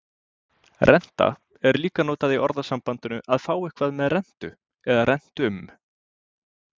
Renta er líka notað í orðasambandinu að fá eitthvað með rentu eða rentum.